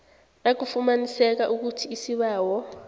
nakufumaniseka ukuthi isibawo